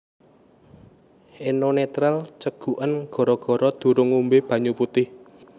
Eno Netral ceguken gara gara durung ngombe banyu putih